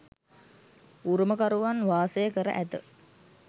උරුමකරුවන් වාසය කර ඇත.